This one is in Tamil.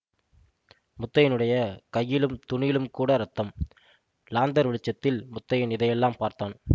முத்தையனுடைய கையிலும் துணியிலுங்கூட இரத்தம் லாந்தர் வெளிச்சத்தில் முத்தையன் இதையெல்லாம் பார்த்தான்